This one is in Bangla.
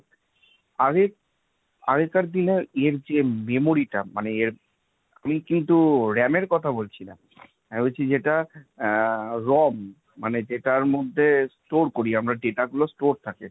আগে আগেকার দিনে এর যে memory টা মানে এর, আমি কিন্তু RAM এর কথা বলছি না আমি বলছি যেটা আহ ROM বা যেটার মধ্যে store করি আমরা data গুলো store থাকে।